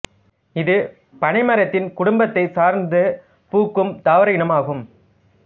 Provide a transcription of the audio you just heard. இது பனை மரத்தின் குடும்பத்தைச் சார்ந்த பூக்கும் தாவர இனம் ஆகும்